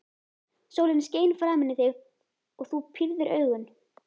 Sólin skein framan í þig og þú pírðir augun.